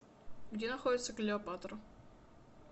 где находится клеопатра